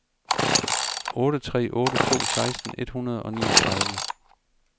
otte tre otte to seksten et hundrede og niogtredive